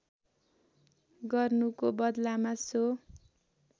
गर्नुको बदलामा सो